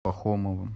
пахомовым